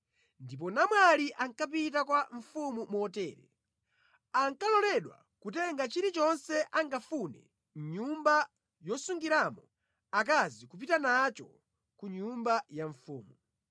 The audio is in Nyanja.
Ndipo namwali ankapita kwa mfumu motere: Ankaloledwa kutenga chilichonse angafune mʼnyumba yosungiramo akazi kupita nacho ku nyumba ya mfumu.